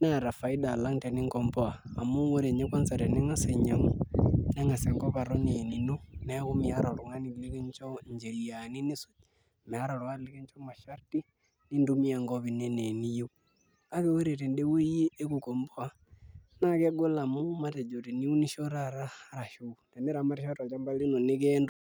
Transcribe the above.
neeta faida oleng' alang' teninkomboa amu ore ninye kwanza[cs[ tening'as ainyiang'u neng'as enkop aton aa enino neeku meeta oltung'ani likincho ncheriani nisuj, meeta oltung'ani likincho masharti nintumia enkop ino enaa eniyieu kake ore tende wueji ekukomboa naa kegol amu matejo teniunisho taa arashu teniramatisho tolchamba lino niun [puase].